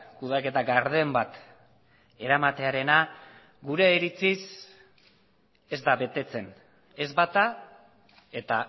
kudeaketa garden bat eramatearena gure iritziz ez da betetzen ez bata eta